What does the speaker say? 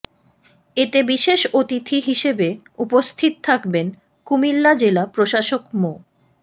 এতে বিশেষ অতিথি হিসেবে উপস্থিত থাকবেন কুমিল্লা জেলা প্রশাসক মো